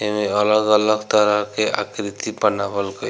एमें अलग-अलग तरह के आकृति बनावल गइ --